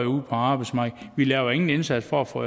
ude på arbejdsmarkedet vi laver ingen indsats for at få